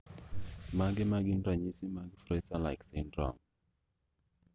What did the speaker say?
Mage magin ranyisi mag Fraser like syndrome